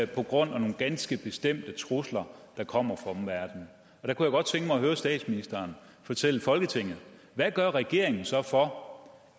grund af nogle ganske bestemte trusler der kommer fra omverdenen jeg kunne godt tænke mig at høre statsministeren fortælle folketinget hvad gør regeringen så for